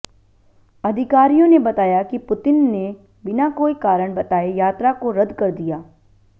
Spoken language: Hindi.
अधिकारियों ने बताया कि पुतिन ने बिना कोई कारण बताए यात्रा को रद्द कर दिया